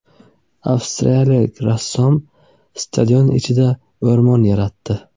Avstriyalik rassom stadion ichida o‘rmon yaratdi .